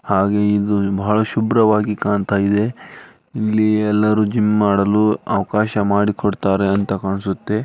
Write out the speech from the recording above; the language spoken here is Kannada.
ಹಾಗೆ ಇದು ಬಹಳ ಶುಭ್ರವಾಗಿ ಕಾಣತ್ತಾ ಇದೆ ಇಲ್ಲಿ ಎಲ್ಲಾರು ಜಿಮ್ ಮಾಡಲು ಅವಕಾಶ ಮಾಡಿಕೊಡುತ್ತಾರೆ ಅಂತ ಕಾಣಸುತ್ತೆ.